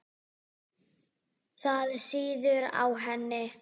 Það sýður á henni.